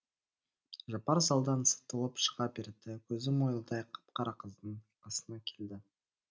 жапар залдан сытылып шыға берді көзі мойылдай қап қара қыздың қасына келді